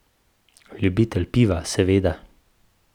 Ljubitelj piva, seveda.